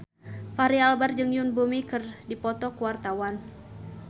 Fachri Albar jeung Yoon Bomi keur dipoto ku wartawan